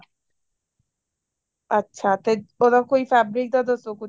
ਅੱਛਾ ਤੇ ਉਹਦਾ ਕੋਈ fabric ਦਾ ਦੱਸੋ ਕੁੱਝ